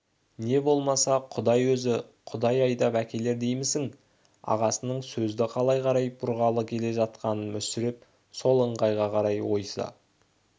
не болмаса құдай өзі құдай айдап әкелер деймісің ағасының сөзді қалай қарай бұрғалы келе жатқанын мүсіреп сол ыңғайға қарай ойыса